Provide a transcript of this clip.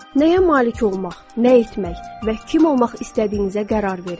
Nəyə malik olmaq, nə etmək və kim olmaq istədiyinizə qərar verin.